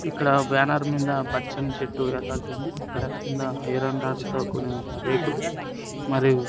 ఇక్కడ బ్యానర్ మింద పచ్చని చెట్టు ఎలాడుతుంది ఇక్కడ కింద ఐరన్ రాడ్లతో కొన్ని రేకులు మరియు--